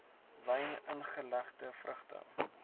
wyn ingelegde vrugte